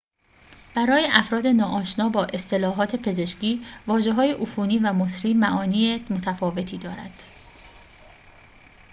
برای افراد ناآشنا با اصطلاحات پزشکی واژه‌های عفونی و مسری معانی متفاوتی دارند